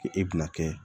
K'e bɛna kɛ